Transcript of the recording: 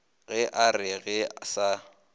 ge a re ga se